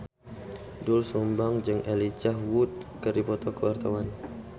Doel Sumbang jeung Elijah Wood keur dipoto ku wartawan